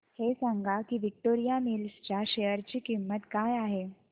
हे सांगा की विक्टोरिया मिल्स च्या शेअर ची किंमत काय आहे